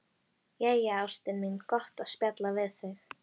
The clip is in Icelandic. Jæja, ástin mín, gott að spjalla við þig.